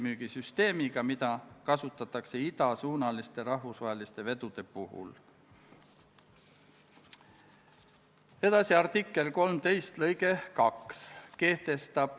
Muudatusettepanekute esitamise tähtajaks, k.a 9. oktoobriks ei esitatud eelnõu kohta ühtegi muudatusettepanekut.